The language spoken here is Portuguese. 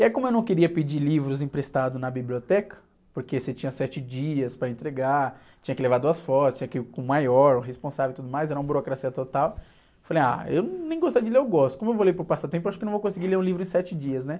E aí como eu não queria pedir livros emprestados na biblioteca, porque você tinha sete dias para entregar, tinha que levar duas fotos, tinha que ir com o maior, o responsável e tudo mais, era uma burocracia total, eu falei, ah, eu nem gostar de ler eu gosto, como eu vou ler por passatempo, eu acho que não vou conseguir ler um livro em sete dias, né?